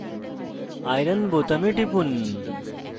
iron fe বোতামে টিপুন